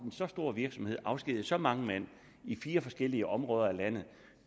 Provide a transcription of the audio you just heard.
så stor virksomhed afskediger så mange mand i fire forskellige områder af landet